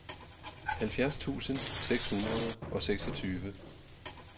halvfjerds tusind seks hundrede og seksogtyve